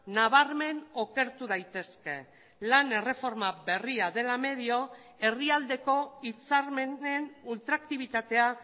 nabarmen okertu daitezke lan erreforma berria dela medio herrialdeko hitzarmenen ultraktibitatea